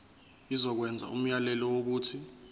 izokwenza umyalelo wokuthi